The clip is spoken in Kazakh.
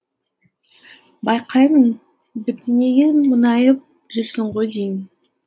байқаймын бірдеңеге мұңайып жүрсің ғой деймін